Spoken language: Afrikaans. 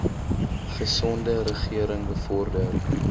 gesonde regering bevorder